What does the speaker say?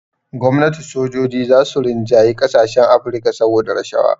Gwamnati sojoji za su rinjayi ƙasashen Afrika saboda rashawa